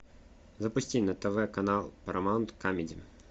запусти на тв канал парамаунт камеди